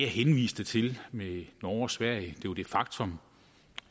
henviste til med norge og sverige jo det faktum